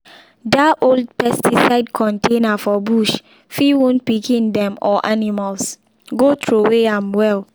if you use safety style well your body eye and lungs go dey safe.